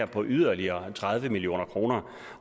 på yderligere tredive million kr